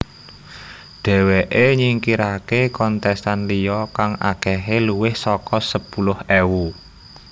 Dheweké nyingkiraké kontestan liya kang akehé luwih saka sepuluh ewu